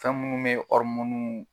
Ka munnu be